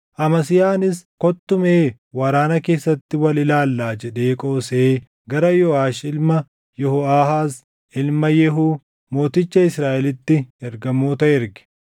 Amasiyaanis, “Kottu mee waraana keessatti wal ilaallaa” jedhee qoosee gara Yooʼaash ilma Yehooʼaahaaz, ilma Yehuu, mooticha Israaʼelitti ergamoota erge.